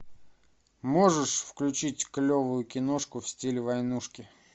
можешь включить клевую киношку в стиле войнушки